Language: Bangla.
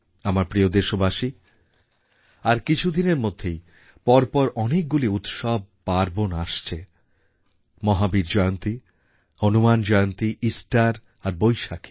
আমার প্রিয় দেশবাসী কিছুদিনের মধ্যেই পরপর অনেকগুলি উৎসব পার্বন আসছে মহাবীর জয়ন্তী হনুমান জয়ন্তী ইস্টার আর বৈশাখী